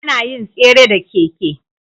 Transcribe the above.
Anayin tsere da keke